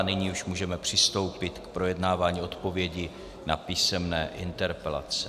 A nyní už můžeme přistoupit k projednávání odpovědí na písemné interpelace.